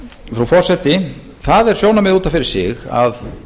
frú forseti það er sjónarmið út af fyrir sig að